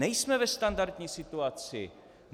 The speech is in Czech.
Nejsme ve standardní situaci.